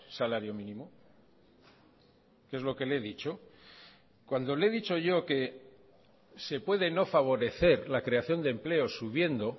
salario mínimo que es lo que le he dicho cuando le he dicho yo que se puede no favorecer la creación de empleo subiendo